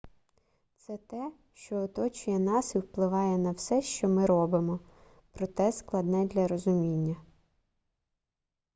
це те що оточує нас і впливає на все що ми робимо проте складне для розуміння